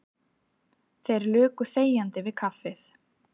Þeir luku þegjandi við kaffið.